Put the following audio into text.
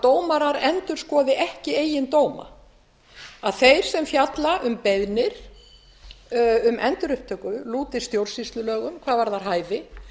dómarar endurskoði ekki eigin dóma að þeir sem fjalla um beiðnir um endurupptöku lúti stjórnsýslulögum hvað varðar hæfi